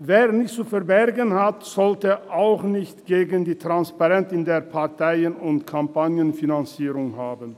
Wer nichts zu verbergen hat, sollte auch nichts gegen Transparenz in der Parteien- und Kampagnenfinanzierung haben.